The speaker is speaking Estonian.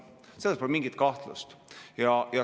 Selles pole mingit kahtlust.